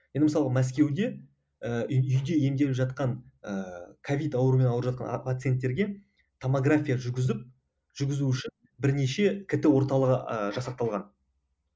енді мысалға мәскеуде ііі үйде емделіп жатқан ііі ковид ауруымен ауырып жатқан пацинеттерге томография жүргізіп жүргізу үшін бірнеше кт орталығы ыыы жасақталған